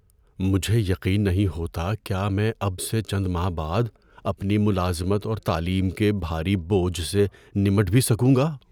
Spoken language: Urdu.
مجھے یقین نہیں ہوتا کیا میں اب سے چند ماہ بعد اپنی ملازمت اور تعلیم کے بھاری بوجھ سے نمٹ بھی سکوں گا۔